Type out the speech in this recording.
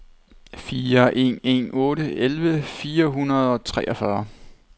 fire en en otte elleve fire hundrede og treogfyrre